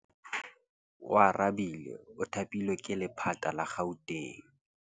Oarabile o thapilwe ke lephata la Gauteng.